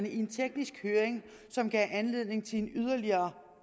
i en teknisk høring som gav anledning til en yderligere